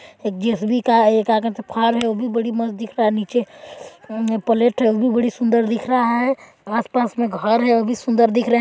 एक डीएसपी का ए का कहते है फार्म है वो भी बड़ी मस्त दिख रहा है नीचे प्लेट है वो भी बहुत सुंदर दिख रहा है आस पास में घर है वो भी सुंदर दिख रहा है।